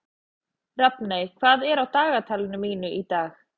Rafney, hvað er á dagatalinu mínu í dag?